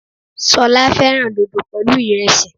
Solá féràn dodo pèlú iresi